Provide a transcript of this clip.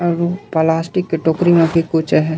और ये प्लास्टिक के टोकरी में भी कुछ अ हे।